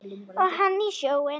Og hann í sjóinn.